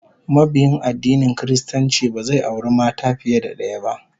Mabiyin addinin Kiristanci ba zai auri mata fiye da daya ba